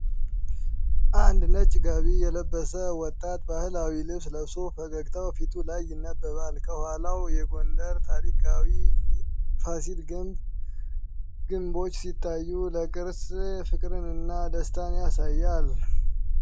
አንድ ነጭ ጋቢ የለበሰ ወጣት ባህላዊ ልብስ ለብሶ ፈገግታው ፊቱ ላይ ይነበባል። ከኋላው የጎንደር ታሪካዊ ፋሲል ግቢ ግምቦች ሲታዩ፣ ለቅርስ ፍቅርንና ደስታን ያሳያል።